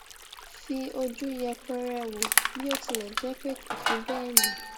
fi oju yepere wo bi o tile je pe kò fi béè ní